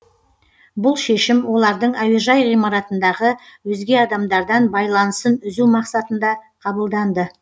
бұл шешім олардың әуежай ғимаратындағы өзге адамдардан байланысын үзу мақсатында қабылданды